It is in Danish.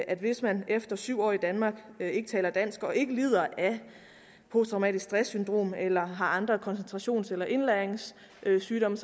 at hvis man efter syv år i danmark ikke taler dansk og ikke lider af posttraumatisk stresssyndrom eller har andre koncentrations eller indlæringssygdomme